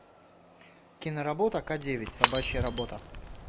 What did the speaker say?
киноработа к девять собачья работа